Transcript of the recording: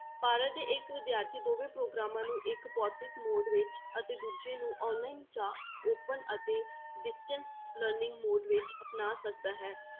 ਭਾਰਤ ਦੇ ਇੱਕ ਵਿਦਿਆਰਥੀ ਦੋਵੇਂ ਪ੍ਰੋਗਰਾਮਾਂ ਨੂੰ ਇੱਕ ਭੋਤਿਕ mode ਅਤੇ ਦੂਜੇ ਨੂੰ online ਜਾਂ open ਅਤੇ distance learning mode ਵਿੱਚ ਅਪਣਾ ਸਕਦਾ ਹੈ।